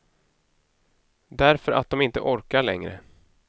Därför att de inte orkar längre.